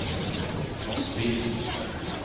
Mosby